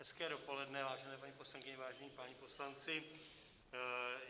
Hezké dopoledne, vážené paní poslankyně, vážení páni poslanci.